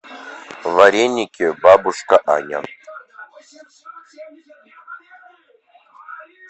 вареники бабушка аня